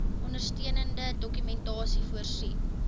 ondersteunende dokumentasie voorsien